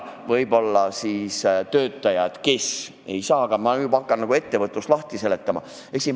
Ma juba hakkan nagu ettevõtlust lahti seletama.